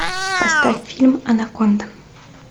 поставь фильм анаконда